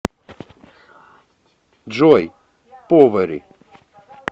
джой повери